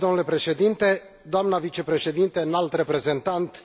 Domnule președinte, doamnă vicepreședintă înalt reprezentant,